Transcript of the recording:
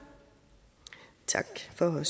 at